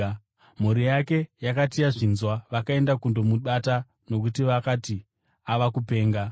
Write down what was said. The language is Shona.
Mhuri yake yakati yazvinzwa, vakaenda kundomubata, nokuti vakati, “Ava kupenga.”